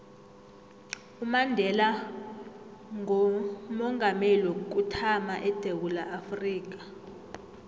umandela ngoomongameli wokuthama edewula afrika